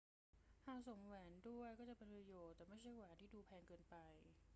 หากสวมแหวนด้วยก็จะเป็นประโยชน์ แต่ไม่ใช่แหวนที่ดูแพงเกินไป